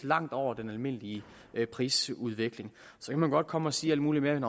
langt over den almindelige prisudvikling så kan man godt komme og sige alt muligt med at